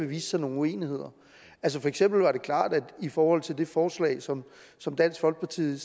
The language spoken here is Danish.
vist sig nogle uenigheder altså for eksempel var det klart i forhold til det forslag som som dansk folkeparti